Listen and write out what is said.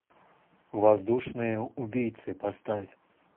воздушные убийцы поставь